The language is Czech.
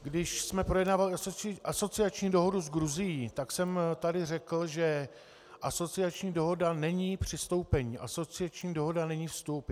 Když jsme projednávali asociační dohodu s Gruzií, tak jsem tady řekl, že asociační dohoda není přistoupení, asociační dohoda není vstup.